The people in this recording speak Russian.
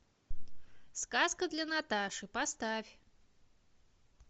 сказка для наташи поставь